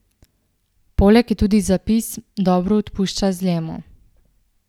Poleg je tudi zapis: "Dobro odpušča zlemu".